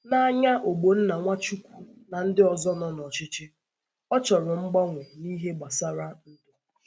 N’anya Ogbonna Nwachukwu na ndị ọzọ nọ n’ọchịchị, a chọrọ mgbanwe n’ihe gbasara ndu.